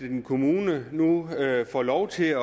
en kommune nu får lov til at